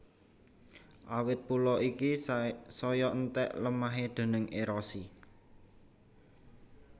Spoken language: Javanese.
Awit pulo iki saya enthèk lemahé déning érosi